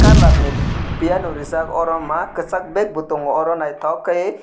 colour ni piyano rijak o mak kisak bag bo tongo oro naitok kai oe.